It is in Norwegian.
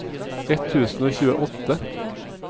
ett tusen og tjueåtte